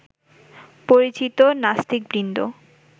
পরিচিত নাস্তিকবৃন্দ